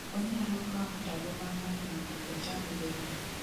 Onyalo kawo ndalo ma ng'eny mondo ochang bende